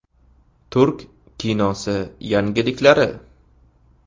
Turk kinosi yangiliklari .